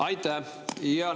Aitäh!